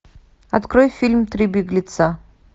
открой фильм три беглеца